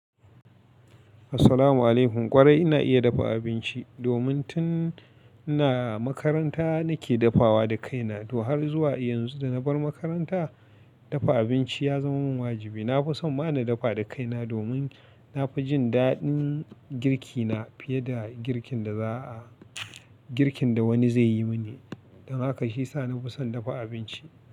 Assalamu alaikum. Kwarai ina iya dafa abinci domin tun ina makaranta nake dafawa da kaina. To har zuwa yanzu da na bar makaranta, dafa abinci ya zama mun wajibi. Na fi son ma na dafa da kaina domin na fi jin daɗin girki na fiye da girkin da wani zai yi mini. Don haka shi ya sa na fi son dafa abinci.